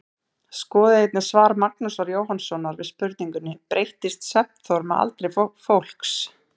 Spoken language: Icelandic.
Skoðið einnig svar Magnúsar Jóhannssonar við spurningunni Breytist svefnþörf með aldri fólks?